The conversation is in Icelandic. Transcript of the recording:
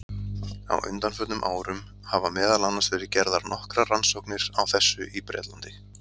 Á undanförnum árum hafa meðal annars verið gerðar nokkrar rannsóknir á þessu í Bretlandi.